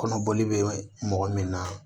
Kɔnɔboli bɛ mɔgɔ min na